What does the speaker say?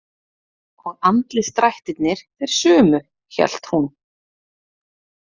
Og andlitsdrættirnir þeir sömu, hélt hún.